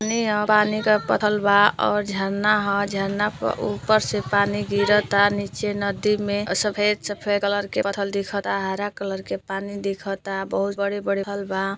पानी का पथल बा और झरना ह। झरना पर ऊपर से पानी गिर था। नीचे नदी में सफेद सफेद कलर के पथल दिखाता। हरा कलर के पानी दिखता। बहुत बड़े बड़े फल बा।